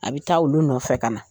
A bɛ taa olu nɔfɛ ka na